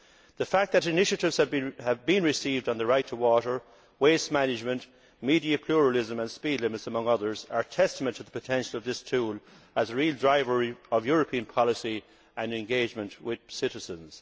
The fact that initiatives have been received on the right to water, waste management, media pluralism and speed limits, among others, are testimony to the potential of this tool as a real driver of European policy and engagement with citizens.